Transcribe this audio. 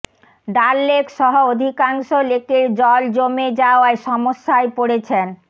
ডাল লেক সহ অধিকাংশ লেকের জল জমে যাওয়ায় সমস্যায় পড়েছেন